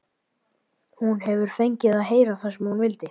Hún hefur fengið að heyra það sem hún vildi.